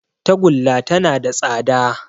Tagulla tana da tsada